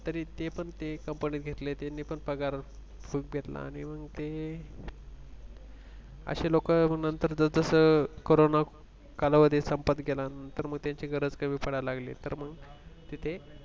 तरी ते पण ते कंपनीत घेतले त्यांनी पण पगार खूप घेतला अणि मंग ते असे मग लोकं जसजसं कोरोना कालावधी संपत गेला तर मग त्यांची गरज कमी पडायला लागली तर मंग तिथे